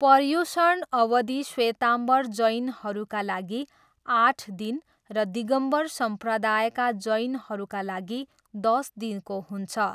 पर्युषण अवधि श्वेताम्बर जैनहरूका लागि आठ दिन र दिगम्बर सम्प्रदायका जैनहरूका लागि दस दिनको हुन्छ।